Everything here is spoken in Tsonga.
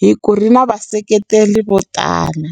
hi ku ri na vaseketeli vo tala.